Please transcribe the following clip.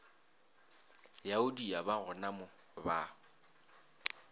yaudi ya ba gonamo ba